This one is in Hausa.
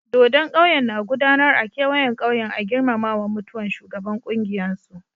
Dodon ƙauyen na gudanar a kewayen ƙauyen a girmamawan mutuwan shugaban kungiyan su.